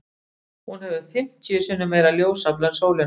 Hún hefur fimmtíu sinnum meira ljósafl en sólin okkar.